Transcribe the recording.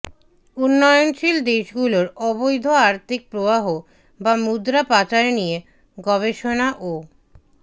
উন্নয়নশীল দেশগুলোর অবৈধ আর্থিক প্রবাহ বা মুদ্রা পাচার নিয়ে গবেষণা ও